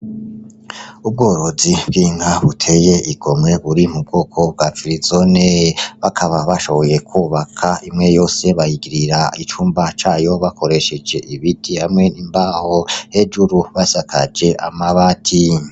Ubworozi bw'inka buteye igomwe buri mu bwoko bwa firizone, bakaba bashoboye kwubaka imwe yose bayigirira icumba cayo bakoresheje ibiti hamwe n'imbaho hejuru basakaje amabati.